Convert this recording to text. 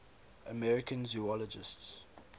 american zoologists